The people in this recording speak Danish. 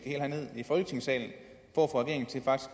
herned i folketingssalen for